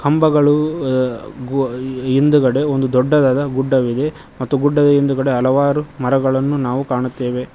ಕಂಬಗಳು ಅ ಗೋ ಯ ಹಿಂದ್ಗಡೆ ಒಂದು ದೊಡ್ಡದಾದ ಗುಡ್ಡವಿದೆ ಮತ್ತು ಗುಡ್ಡದ ಹಿಂದ್ಗಡೆ ಹಲವಾರು ಮರಗಳನ್ನು ನಾವು ಕಾಣುತ್ತೆವೆ.